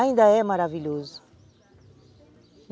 Ainda é maravilhoso.